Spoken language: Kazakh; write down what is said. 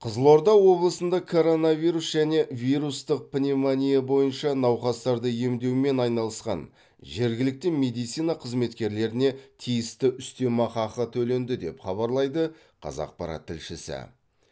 қызылорда облысында коронавирус және вирустық пневмония бойынша науқастарды емдеумен айналысқан жергілікті медицина қызметкерлеріне тиісті үстемақ ақы төленді деп хабарлайды қазақпарат тілшісі